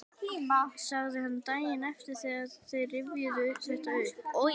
sagði hann daginn eftir þegar þeir rifjuðu þetta upp: Oj!